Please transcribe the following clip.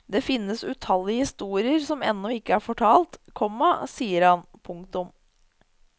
Det finnes utallige historier som ennå ikke er fortalt, komma sier han. punktum